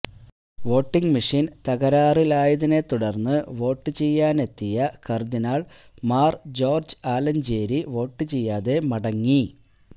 voting machine തകരാറിലായതിനെ തുടര്ന്ന് vote ചെയ്യാനെത്തിയ cardinal Mar George Alencherry vote ചെയ്യാതെ മടങ്ങി